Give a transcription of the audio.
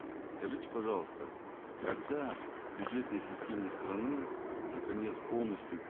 скажите пожалуйста когда бюджетные системы страны наконец полностью